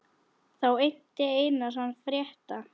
Þá innti Einar hann frétta.